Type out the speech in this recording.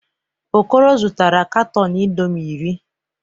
Okoro zụtara katọn indọmii iri.